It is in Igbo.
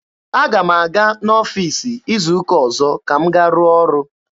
Aga m aga n'ọfiisi izu ụka ọzọ ka m gaa rụọ ọrụ.